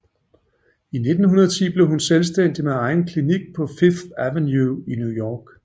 I 1910 blev hun selvstændig med egen klinik på 5th Avenue i New York